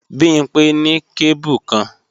Bimpé ní kébù kan